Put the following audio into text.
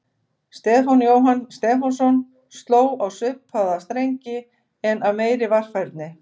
Stefán Jóhann Stefánsson sló á svipaða strengi en af meiri varfærni.